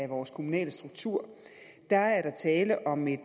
vores kommunalstruktur er er tale om et